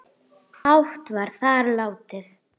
hátt var þar látið